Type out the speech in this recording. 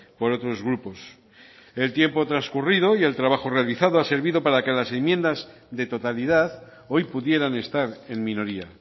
por otros grupos el tiempo transcurrido y el trabajo realizado ha servido para que las enmiendas de totalidad hoy pudieran estar en minoría